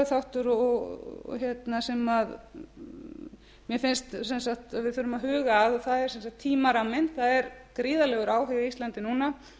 þáttur sem mér finnst sem sagt að við þurfum að huga að og það er sem sagt tímaramminn það er gríðarlegur áhugi á íslandi núna